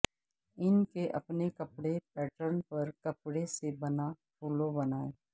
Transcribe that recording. ان کے اپنے کپڑے پیٹرن پر کپڑے سے بنا پھولوں بنائیں